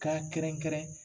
K'a kɛrɛnkɛrɛn